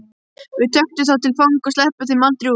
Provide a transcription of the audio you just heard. Við tökum þá til fanga. sleppum þeim aldrei út.